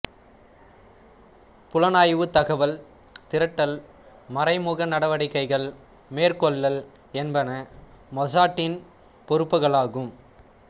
புலனாய்வு தகவல் திரட்டல் மறைமுக நடவடிக்கைகள் மேற்கொள்ளல் என்பன மொசாட்டின் பொறுப்புக்களாகும்